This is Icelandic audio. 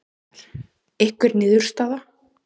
Gunnar: Einhver niðurstaða?